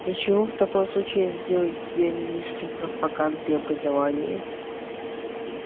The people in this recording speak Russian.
для чего в таком случае я сделал тебя министром пропаганды и образования